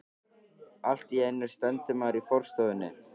Allt í einu stendur maður í forstofunni.